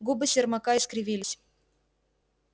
губы сермака искривились